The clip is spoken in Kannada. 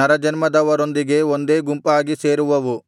ನರಜನ್ಮದವರೊಂದಿಗೆ ಒಂದೇ ಗುಂಪಾಗಿ ಸೇರುವವು